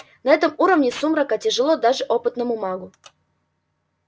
на этом уровне сумрака тяжело даже опытному магу